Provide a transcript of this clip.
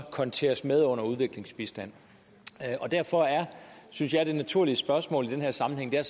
konteres med under udviklingsbistand derfor synes jeg at det naturlige spørgsmål i den her sammenhæng er